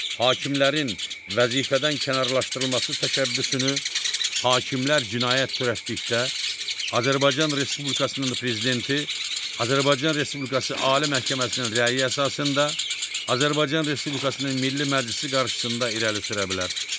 Hakimlərin vəzifədən kənarlaşdırılması təşəbbüsünü hakimlər cinayət törətdikdə, Azərbaycan Respublikasının prezidenti Azərbaycan Respublikası Ali Məhkəməsinin rəyi əsasında Azərbaycan Respublikasının Milli Məclisi qarşısında irəli sürə bilər.